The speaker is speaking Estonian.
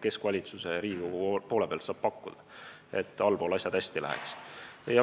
keskvalitsus ja Riigikogu saab pakkuda, et allpool läheks hästi.